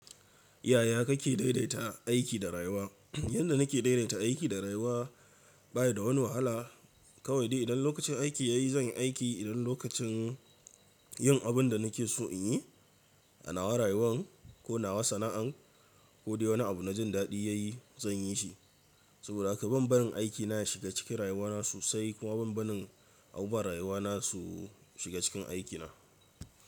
Yaya kake daidaita aiki da rayuwa? Yadda nake daidaita aiki da rayuwa baya da wani wahala. Kawai dai idan lokacin aiki ya yi zan yi aiki, idan lokacin yin abin da nake so in yi, anawa rayuwan ko nawa sana'an ko dai wani abu na jin daɗi ya yi zan yi shi. Saboda haka ban barin aikina ya shiga cikin rayuwana sosai kuma ban barin abubuwan rayuwana su shiga cikin aikina.